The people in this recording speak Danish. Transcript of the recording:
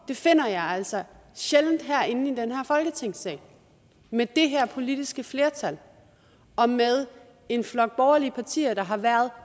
finder jeg altså sjældent herinde i den her folketingssal med det her politiske flertal og med en flok borgerlige partier der har været